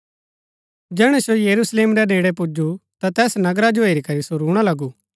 जैहणै सो यरूशलेम रै नेड़ै पुजु ता तैस नगरा जो हेरी करी सो रूणा लगु